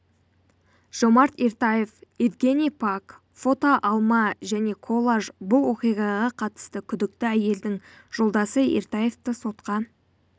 жомарт ертаев евгений пак фото алма және коллаж бұл оқиғаға қатысты күдікті әйелдің жолдасы ертаевты сотқа